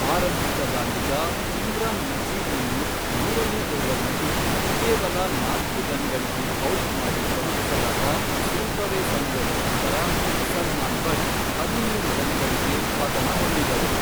ಆರಂಭಿಕ ದಾಂಡಿಗ, ಇಮ್ರಾನ್ ನಜೀರ್ನನ್ನು ಮೂರನೇ ಓವರ್ನಲ್ಲಿ ಕೇವಲ ನಾಲ್ಕು ರನ್ಗಳಿಗೆ ಔಟ್ ಮಾಡಿ ಕಳುಹಿಸಲಾದ ಸ್ವಲ್ಪವೇ ಸಮಯದ ನಂತರ ಸಲ್ಮಾನ್ ಬಟ್ ಹದಿಮೂರು ರನ್ಗಳಿಗೆ ಪತನ ಹೊಂದಿದರು.